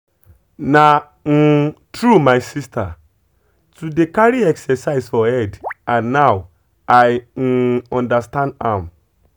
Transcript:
na um true my sister too dey carry exercise for head and and now i um understand am.